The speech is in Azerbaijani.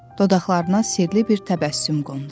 Dodaqlarına sirli bir təbəssüm qondu.